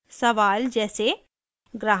सवाल जैसे: